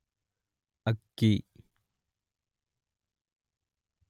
ಅಕ್ಕಿ